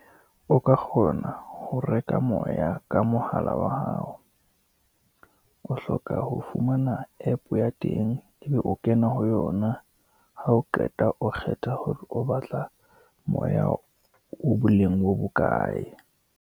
O ka kgona ho reka moya ka mohala wa hao, o hloka ho fumana app ya teng, e be o kena ho yona, ha o qeta o kgetha hore o batla moya o boleng bo bokae.